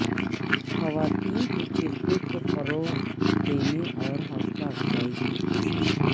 خواتین کے کرکٹ کو فروغ دینے اور حوصلہ افزائی کی کوششیں